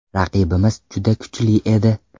Raqibimiz juda kuchli edi.